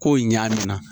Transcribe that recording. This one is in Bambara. Kow ɲɛ na